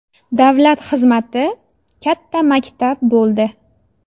Davlat xizmati katta maktab bo‘ldi.